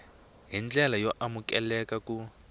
hi ndlela yo amukeleka ku